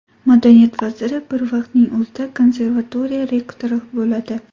Madaniyat vaziri bir vaqtning o‘zida konservatoriya rektori bo‘ladi.